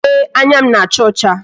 Ee, anya m na-acha ọcha